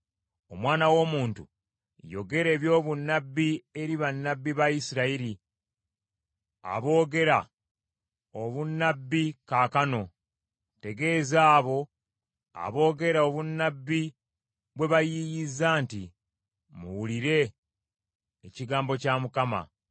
“Omwana w’omuntu, yogera ebyobunnabbi eri bannabbi ba Isirayiri aboogera obunnabbi kaakano. Tegeeza abo aboogera obunnabbi bwe bayiiyizza nti, ‘Muwulire ekigambo kya Mukama .